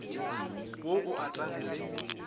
wo o et ane le